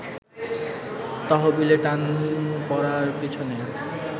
তহবিলে টান পড়ার পিছনে